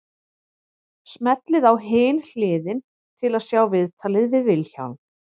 Smellið á Hin hliðin til að sjá viðtalið við Vilhjálm.